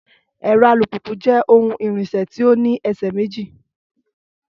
Ẹ̀rọ alùpùpù jẹ́ ohun ìrìnsẹ̀ tí ó ní ẹsẹ̀ méjì